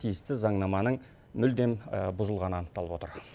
тиісті заңнаманың мүлдем бұзылғаны анықталып отыр